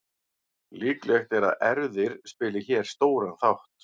Líklegt er að erfðir spili hér stóran þátt.